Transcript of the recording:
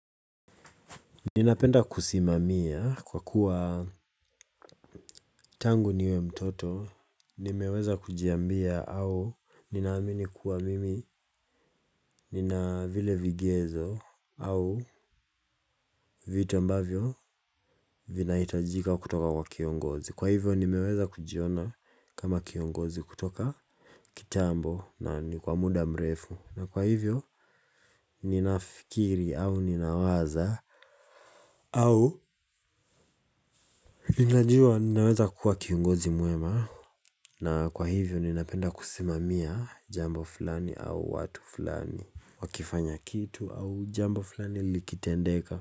Ninapenda kusimamia kwa kuwa tangu niwe mtoto nimeweza kujiambia au ninaamini kuwa mimi nina vile vigezo au vitu ambavyo vinahitajika kutoka kwa kiongozi kwa hivyo nimeweza kujiona kama kiongozi kutoka kitambo na ni kwa muda mrefu na kwa hivyo ninafikiri au ninawaza au ninajua ninaweza kuwa kiongozi mwema. Na kwa hivyo ninapenda kusimamia jambo fulani au watu fulani. Wakifanya kitu au jambo fulani likitendeka.